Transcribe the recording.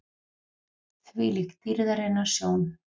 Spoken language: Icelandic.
ÞVÍLÍK DÝRÐARINNAR SJÓN!